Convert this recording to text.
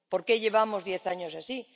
¿Por qué llevamos diez años así?